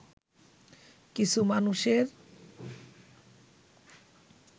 কিছু মানুষের